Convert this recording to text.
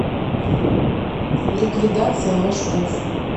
ликвидация машков